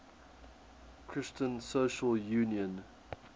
christian social union